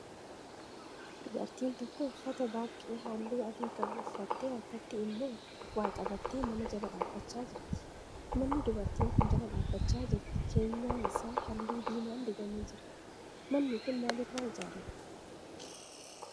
Dubartiin tokko uffata baaqqee halluu adii qabu uffattee harkatti immoo waa qabattee mana jala dhaabbachaa jirti. Manni dubartiin kun jala dhaabbachaa jirti keenyan isaa halluu diimaan dibamee jira. Manni kun maal irraa ijaarame?